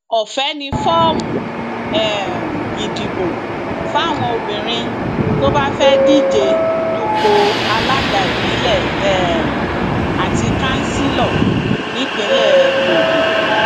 ọfẹ ni fọọmù um ìdìbò fáwọn obìnrin tó bá fẹẹ díje dupò alága ìbílẹ um àti kansílọ nípìnlẹ ogun